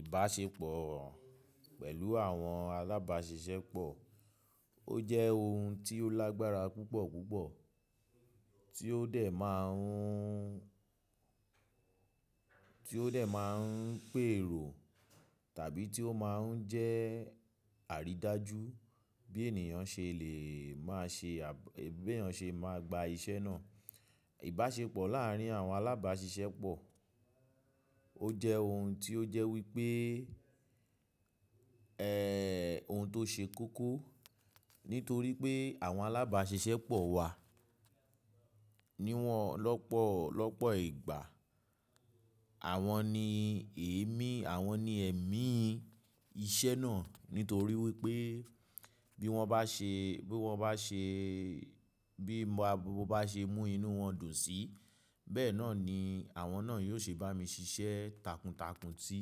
Ìbáṣepọ̀ pẹ̀lú àwọn alábàáṣiṣẹ́ pọ̀, ó jẹ́ ohun tí ó lágbára púpọ̀ púpọ̀ tí ó dẹ̀ máa ń, tí ó dẹ̀ máa ń pèrò tàbí tí ó máa ń jẹ́ àrídájú bí ènìyàn ṣe lè máa ṣe à, bí èyàn ṣe máa gba iṣẹ́ náà. Ìbáṣepọ̀ láàárín àwọn alábáàṣiṣẹ́ pọ̀ ó jẹ ohun tí ó jẹ́ wípé, ẹ́, ohun tó ṣe kókó, nítorí pé àwọn alábáàṣiṣẹ́ pọ̀ wà ní wọ̀n lọ́pọ̀ lọ́pọ̀ ìgbà. Àwọn ni èémí, àwọn ni ẹ̀mí iṣẹ́ náà nítorí wípé bí wọ́n bá ṣe, bí wọ́n bá ṣe, bí mo bá ṣe mú inú wọn dùn síi, bẹ́ẹ̀ náà ni àwọn náà yóò ṣe bá mi ṣiṣẹ́ takuntakun sí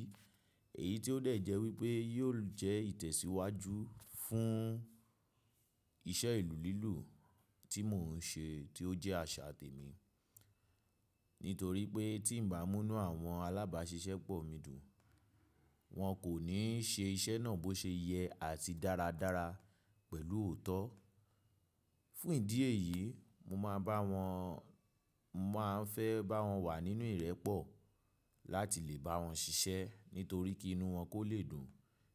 èyí tí ó dẹ̀ jẹ́ wípé yóò jẹ́ ìtẹ̀síwájú fún iṣẹ́ ìlú lílù tí mò ń ṣe tí ó jẹ́ àṣà tèmi. Nítorí pé tí ǹ bá mú inú àwọn alábáàṣiṣẹ́ pọ̀ mi dùn, wọn kò ní ṣe iṣẹ́ náà bó ṣe yẹ àti dáradára pẹ̀lú òótọ́. Fún ìdí èyí, mo máa bá wọn, máa ń fẹ́ bá wọn wà nínú ìrẹ́pọ̀ láti lè bá wọn ṣiṣẹ́ nítorí kí inú wọn kó lè dùn,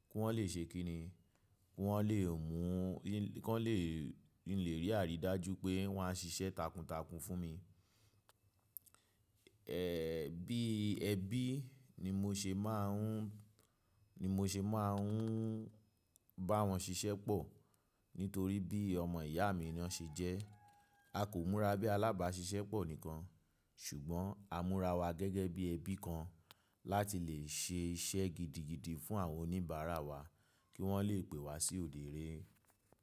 kí wọ́n lè ṣe kíni, kí wọ́n lè mú, kí wọ́n lè, kin lè rí àrídájú pé wọn a ṣiṣẹ́ takuntakun fún mi. Ẹ̀, bí ẹbí ni mo ṣe máa ń, ni mo ṣe máa ń bá wọn ṣiṣẹ́ pọ̀. Nítorí bí ọmọ ìyá mi ni wọ́n ṣe jẹ́. A kò múra bí alábáàṣiṣẹ́ pọ̀ nìkan ṣùgbọ́n a múra wa gẹ́gẹ́ bí ẹbí kan láti lè ṣe iṣẹ́ gidigidi fún àwọn oníbàárà wa kí wọ́n lè pè wá sí odẹ ẹrẹ.